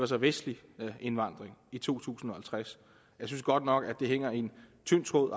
så er vestlig indvandring i to tusind og halvtreds jeg synes godt nok at hænger i en tynd tråd